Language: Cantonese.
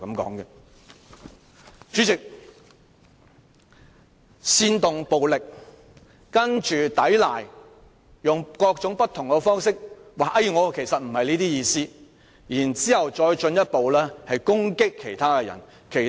代理主席，他煽動暴力，接着抵賴，並用各種方法辯解，指自己不是這意思，然後進一步攻擊他人。